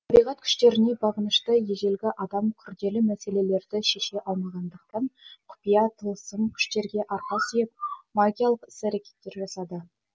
табиғат күштеріне бағынышты ежелгі адам күрделі мәселелерді шеше алмағандықтан құпия тылсым күштерге арқа сүйеп магиялық іс әрекеттер жасады